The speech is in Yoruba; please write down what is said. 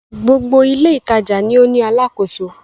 Gbogbo ilé-ìtajà ni ó ní alákòóso.